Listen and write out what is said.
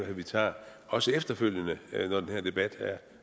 at vi tager og også efterfølgende når den her debat